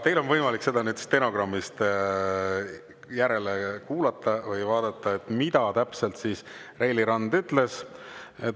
Teil on võimalik stenogrammist järele vaadata või kuulata, mida täpselt Reili Rand ütles.